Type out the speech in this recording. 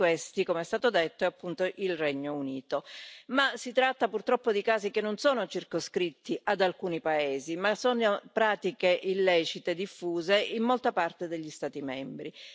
Uno di questi, come è stato detto, è appunto il Regno Unito, ma si tratta purtroppo di casi che non sono circoscritti ad alcuni paesi, ma sono pratiche illecite diffuse in molta parte degli Stati membri.